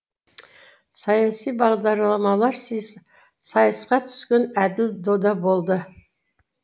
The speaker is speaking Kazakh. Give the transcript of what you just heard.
саяси бағдарламалар сайысқа түскен әділ дода болды